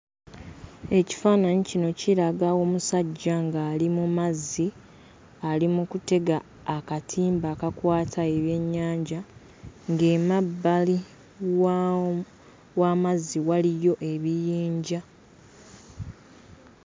Ekifaananyi kino kiraga omusajja ng'ali mu mazzi ali mu kutega akatimba akakwata ebyennyanja, ng'emmabbali wa w'amazzi waliyo ebiyinja.